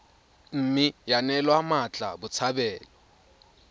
mme ya neelwa mmatla botshabelo